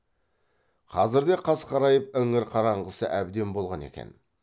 қазірде қас қарайып іңір қараңғысы әбден болған екен